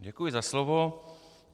Děkuji za slovo.